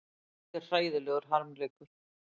Þetta er hræðilegur harmleikur